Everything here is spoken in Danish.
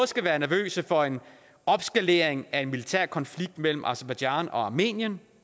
skal være nervøse for en opskalering af en militærkonflikt mellem aserbajdsjan og armenien